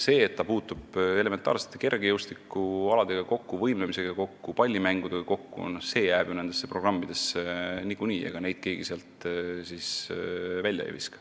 See, et laps puutub kokku elementaarsete kergejõustikualadega, võimlemisega, pallimängudega, jääb ju niikuinii nendesse programmidesse – ega keegi neid sealt siis välja ei viska.